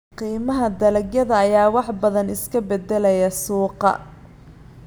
Qiimaha dalagyada ayaa wax badan iska beddelaya suuqa.